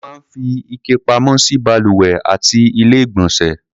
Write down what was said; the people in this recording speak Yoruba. Wọ́n máa ń fi ike pamọ́ sí balùwẹ̀ àti Ilé-ìgbọ̀nsẹ̀.